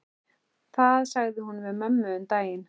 Það sagði hún við mömmu um daginn.